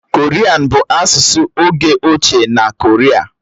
Korian bụ asụsụ oge ochie na Koria.